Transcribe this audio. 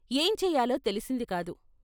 ఏం చేయాలో తెలిసిందికాదు.